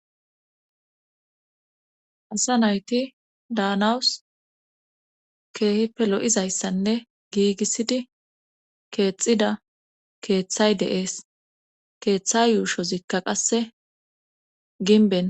Asa nayti daanawus keehippe lo7izayssanne giigissidi keexxida keeththay deees keeththay yuushozikka qasse ginben